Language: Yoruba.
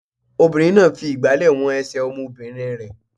Obìnrin náà fi ìgbàlẹ̀ wọn ẹsẹ̀ ọmọbìnrin rẹ̀.